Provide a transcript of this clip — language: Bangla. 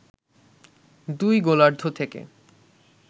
দুই গোলার্ধ থেকে